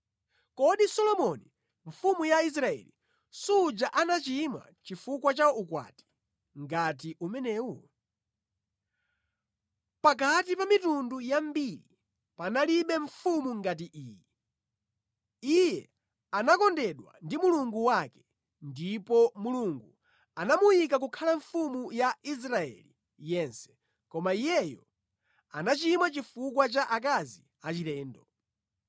Kodi Solomoni mfumu ya Israeli suja anachimwa chifukwa cha ukwati ngati umenewu. Pakati pa mitundu yambiri panalibe mfumu ngati iyi. Iye anakondedwa ndi Mulungu wake, ndipo Mulungu anamuyika kukhala mfumu ya Israeli yense, koma iyeyo anachimwa chifukwa cha akazi achilendo.